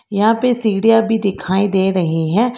यहां पे सीढ़ियां भी दिखाई दे रही है।